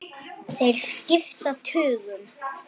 Þeir skipta tugum.